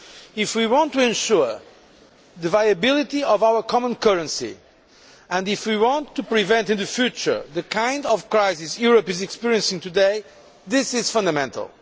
If we want to ensure the viability of our common currency, and if we want to prevent in future the kind of crisis Europe is experiencing today, this is fundamental.